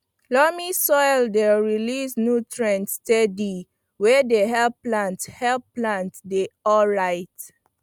loamy soil dey release nutrients steady wey dey help plants help plants dey alright